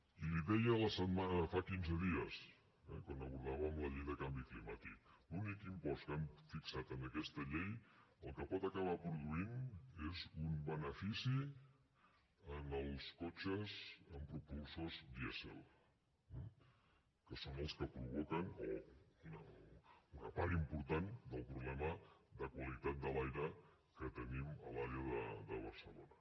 i li deia fa quinze dies quan abordàvem la llei de canvi climàtic l’únic impost que han fixat en aquesta llei el que pot acabar produint és un benefici en els cotxes amb propulsors dièsel que són els que provoquen una part important del problema de qualitat de l’aire que tenim a l’àrea de barcelona